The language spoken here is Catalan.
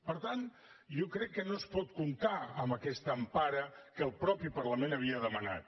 per tant jo crec que no es pot comptar amb aquesta empara que el mateix parlament havia demanat